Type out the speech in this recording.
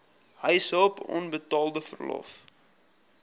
huishulp onbetaalde verlof